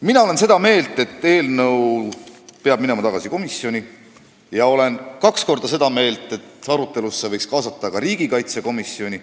Mina olen seda meelt, et eelnõu peab minema tagasi komisjoni, ja olen kaks korda seda meelt, et arutelusse võiks kaasata ka riigikaitsekomisjoni.